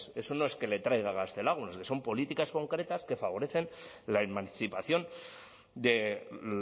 eso no es que la traiga gaztelagun es que son políticas concretas que favorecen la emancipación de